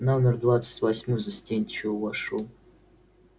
номер двадцать восьмой застенчиво вошёл